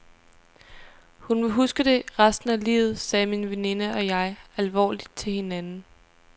Hun vil huske det resten af livet, sagde min veninde og jeg alvorligt til hinanden.